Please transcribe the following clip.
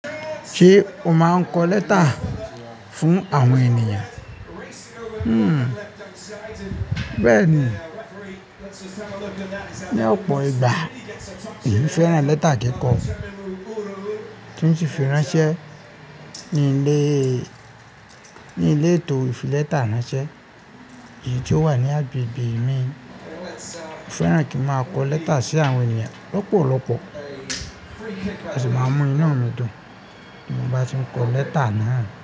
Ṣé o máa n kọ lẹ́tà fún àwọn ènìyàn? Bẹ́ẹ̀ni. Ni ọ̀pọ̀ ìgbà, èyí fẹ́ràn lẹ́tà kíkọ, kí ó sì fi ránṣẹ́ ní ilé, ní ilé ìtò fìlẹ́tà ránṣẹ́ èyí tó wà ní agbègbè mi. Ó fẹ́ràn kí n máa kọ lẹ́tà sí àwọn ènìyàn lọ́pọ̀lọpọ̀. A sì máa mú inu dùn tín mo bá ti ń kọ lẹ́tà náà.